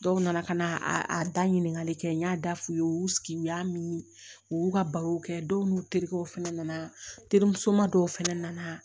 Dɔw nana ka na a da ɲinikali kɛ n y'a da f'u ye u y'u sigi u y'a min u y'u ka barow kɛ dɔw n'u terikɛw fɛnɛ nana terimusoman dɔw fɛnɛ na